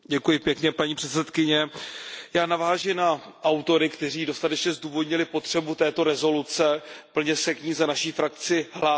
Paní předsedající, já naváži na autory, kteří dostatečně zdůvodnili potřebu této rezoluce, plně se k ní za naši frakci hlásím.